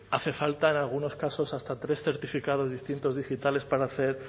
hace falta en algunos casos hasta tres certificados distintos digitales para hacer